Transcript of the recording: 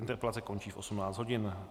Interpelace končí v 18.00 hodin.